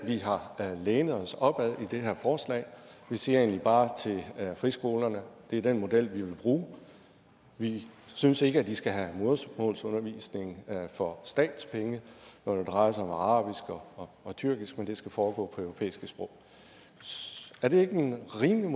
vi har lænet os op ad i det her forslag vi siger egentlig bare til friskolerne at det er den model vi vil bruge vi synes ikke de skal have modersmålsundervisning for statslige penge når det drejer sig om arabisk og tyrkisk men at det skal foregå på europæiske sprog er det ikke rimeligt